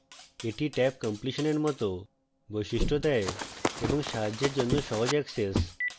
এটি tabcompletion এর it বৈশিষ্ট্য দেয় এবং সাহায্যের জন্য সহজ অ্যাক্সেস